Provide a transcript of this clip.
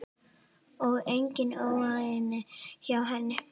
Og engin óánægja hjá henni?